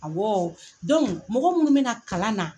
Awɔɔ mɔgɔ munnu bena kalan na